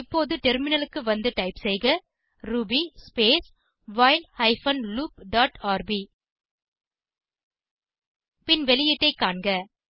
இப்போது டெர்மினலுக்கு வந்து டைப் செய்க Ruby space while hyphen loop dot RB பின் வெளியீட்டை காண்க